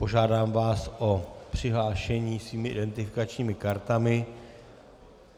Požádám vás o přihlášení svými identifikačními kartami.